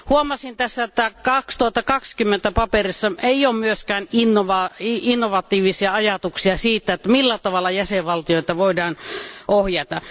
Huomasin, että 2020 paperissa ei ole myöskään innovatiivisia ajatuksia siitä, millä tavalla jäsenvaltioita voidaan ohjata.